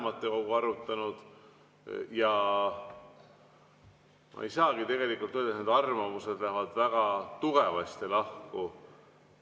Ma ei saagi tegelikult öelda, kuna need arvamused lähevad väga tugevasti lahku.